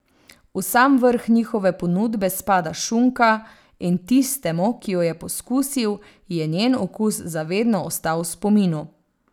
V sam vrh njihove ponudbe spada šunka, in tistemu, ki jo je poskusil, je njen okus za vedno ostal v spominu.